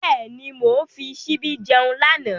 Bẹ́ẹ̀ni, mo fi ṣíbí jẹun lánàá.